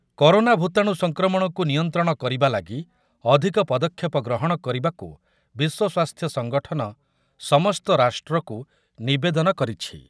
Corona ଭୂତାଣୁ ସଂକ୍ରମଣକୁ ନିୟନ୍ତ୍ରଣ କରିବା ଲାଗି ଅଧିକ ପଦକ୍ଷେପ ଗ୍ରହଣ କରିବାକୁ ବିଶ୍ୱ ସ୍ୱାସ୍ଥ୍ୟ ସଙ୍ଗଠନ ସମସ୍ତ ରାଷ୍ଟ୍ରକୁ ନିବେଦନ କରିଛି ।